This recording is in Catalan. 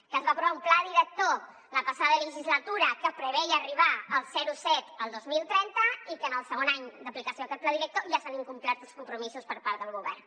que es va aprovar un pla director la passada legislatura que preveia arribar al zero coma set el dos mil trenta i que en el segon any d’aplicació d’aquest pla director ja s’han incomplert els compromisos per part del govern